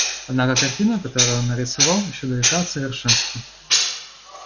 однако картина которую он нарисовал ещё далека от совершенства